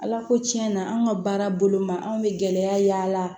Ala ko tiɲɛna an ka baara bolo ma anw bɛ gɛlɛya y'a la